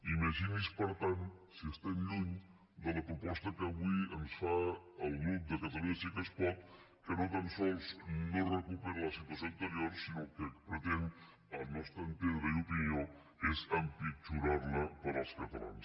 imagini’s per tant si estem lluny de la proposta que avui ens fa el grup de catalunya sí que es pot que no tan sols no recupera la situació anterior sinó que el que pretén al nostre entendre i opinió és empitjorarla per als catalans